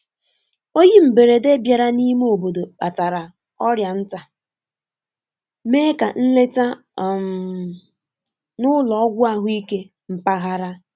Oyi mberede bịara n’ime obodo kpatara ọrịa nta, mee ka nleta um n'ụlo ogwu ahụike mpaghara.